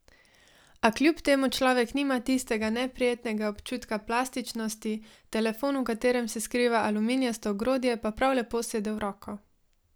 A kljub temu človek nima tistega neprijetnega občutka plastičnosti, telefon, v katerem se skriva aluminijasto ogrodje, pa prav lepo sede v roko.